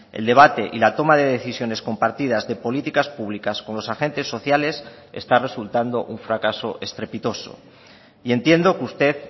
el debate y la toma de decisiones compartidas de políticas públicas con los agentes sociales está resultando un fracaso estrepitoso y entiendo que usted